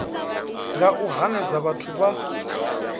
nga u hanedza vhathu vha